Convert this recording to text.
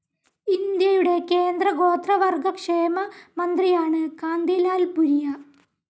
ഇന്ത്യയുടെ കേന്ദ്ര ഗോത്രവർഗ്ഗ ക്ഷേമ മന്ത്രിയാണ് കാന്തിലാൽ ഭുരിയ.